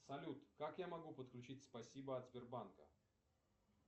салют как я могу подключить спасибо от сбербанка